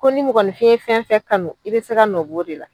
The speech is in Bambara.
Ko ni mɔgɔninfɛn fɛn o fɛn kanu i bɛ se ka nɔ bɔ o de la.